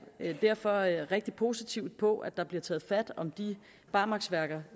derfor rigtig positivt på at der bliver taget hånd om de barmarksværker